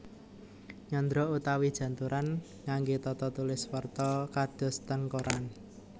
Nyandra utawi janturan ngangge tata tulis warta kados teng koran